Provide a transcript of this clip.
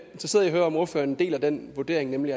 interesseret i at høre om ordføreren deler den vurdering nemlig